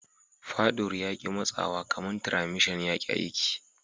Fadur ya ki matsawa kaman tiramishan ya ki aiki.